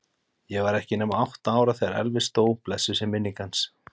Ég var ekki nema átta ára þegar Elvis dó, blessuð sé minning hans.